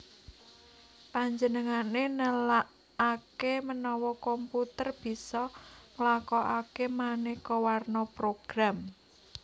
Panjenengané nelaaké menawa komputer bisa nglakokaké manéka warna program